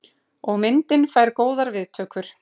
Og myndin fær góðar viðtökur.